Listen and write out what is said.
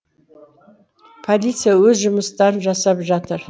полиция өз жұмыстарын жасап жатыр